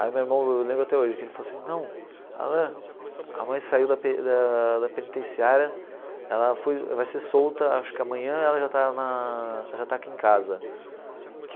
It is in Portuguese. Aí meu irmão eu lembro até hoje, que ele falou assim, não Alan, a mãe saiu da pe da da penitenciária, ela foi vai ser solta, acho que amanhã ela já está na já está aqui em casa.